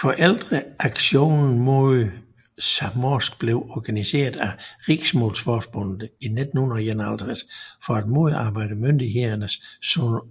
Foreldreaksjonen mot samnorsk blev organiseret af Riksmålsforbundet i 1951 for at modarbejde myndighedernes